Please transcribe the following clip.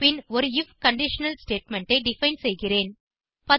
பின் ஒரு IF conditional statement ஐ define செய்கிறேன்